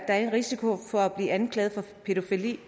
er en risiko for at blive anklaget for pædofili